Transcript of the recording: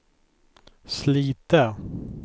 Slite